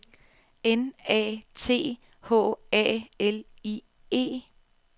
N A T H A L I E